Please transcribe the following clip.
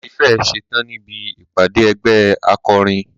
A tí fẹ́ ẹ̀ ṣetán níbi ìpàdé ẹgbẹ́ akọrin.